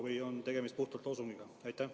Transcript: Või on tegemist puhtalt loosungiga?